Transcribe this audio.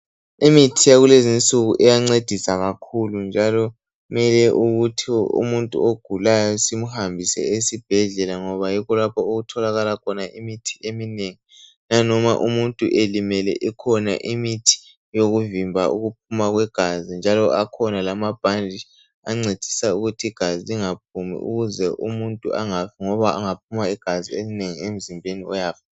Imithi yakulezi nsuku iyancedisa kakhulu njalo kumele ukuthi umuntu ogulayo simhambise esibhedlela ngoba yikho lapho okutholakala khona imithi eminengi nanoma umuntu elimele ikhona imithi yokuvimba ukuphuma kwegazi njalo akhona amabhanditshi ancedisa ukuthi igazi lingaphumi ukuze umuntu angafi ngoba engaphuma igazi elinengi emzimbeni uyafaka.